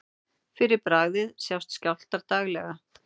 Fyrir bragðið sjást skjálftar daglega.